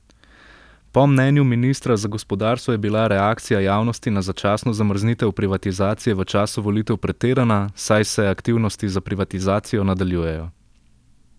Po mnenju ministra za gospodarstvo je bila reakcija javnosti na začasno zamrznitev privatizacije v času volitev pretirana, saj se aktivnosti za privatizacijo nadaljujejo.